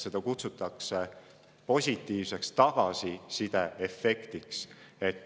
Seda kutsutakse positiivseks tagasisideefektiks.